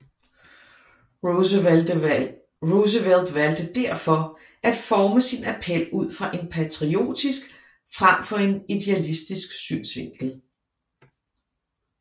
Roosevelt valgte derfor at forme sin appel ud fra en patriotisk frem for en idealistisk synsvinkel